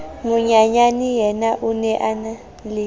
monyenyaneyena o ne a enale